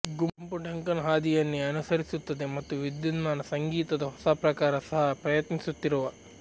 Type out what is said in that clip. ಗುಂಪು ಡಂಕನ್ ಹಾದಿಯನ್ನೇ ಅನುಸರಿಸುತ್ತದೆ ಮತ್ತು ವಿದ್ಯುನ್ಮಾನ ಸಂಗೀತದ ಹೊಸ ಪ್ರಕಾರದ ಸಹಾ ಪ್ರಯತ್ನಿಸುತ್ತಿರುವ